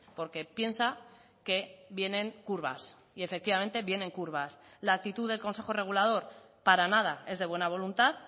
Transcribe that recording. porque piensa que vienen curvas y efectivamente vienen curvas la actitud del consejo regulador para nada es de buena voluntad